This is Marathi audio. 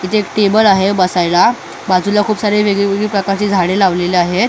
इथे एक टेबल आहे बसायला बाजूला खूप सारी वेगवेगळी प्रकारची झाडे लावलेली आहेत.